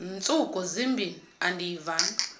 ntsuku zimbin andiyivanga